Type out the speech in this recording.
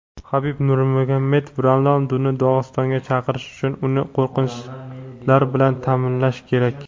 Habib Nurmagomedov: Ronalduni Dog‘istonga chaqirish uchun uni qo‘riqchilar bilan ta’minlash kerak.